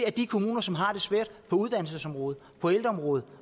de kommuner som har det svært på uddannelsesområdet på ældreområdet